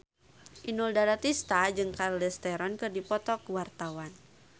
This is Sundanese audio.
Inul Daratista jeung Charlize Theron keur dipoto ku wartawan